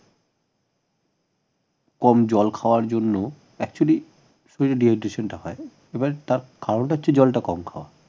কম জল খাওয়ার জন্য actually dehydration টা হয় এবার তা কারণটা হচ্ছে জলটা কম খাওয়া